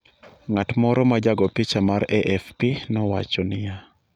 ng’at moro ma jago picha mag AFP nowacho niya.